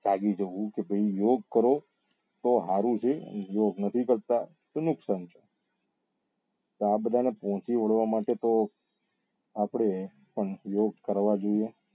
સાજુ થવું કે ભાઈ યોગ કરો તો સારું છે અને યોગ નથી કરતા તો નુકસાન છે તો આ બધા ને પહોચી વળવા માટે તો આપડે યોગ કરવા જોઈએ